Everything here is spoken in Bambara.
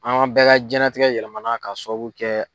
An bɛɛ ka jiyɛnlatigɛ yɛlɛmana k'a sababu kɛ